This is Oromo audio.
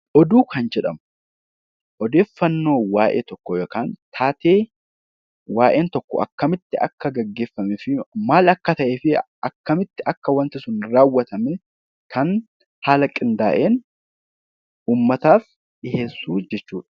Oduu kan jedhamu odeeffannoo waa'ee tokkoo yookaan taatee waa'een tokko akkamitti akka gaggeeffamee fi maal akka ta'e akkamitti waanti sun raawwatame kan haala qindaa'een dhiheessu jechuudha.